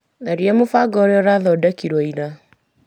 Tharia mũbango ũrĩa ũrathodekirwo ira.